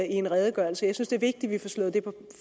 en redegørelse jeg synes det er vigtigt at vi